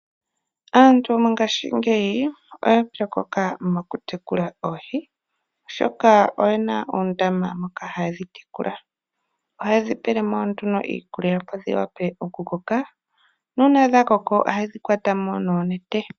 Aantu mongashingeyi oya pyokoka mokutekula oohi, oshoka oyena uundama moka haye dhi tekula . Ohaye dhi pele mo nduno iikulya opo dhiwape okukoka nuuna dhakoko ohaye dhi kwata mo nuunete.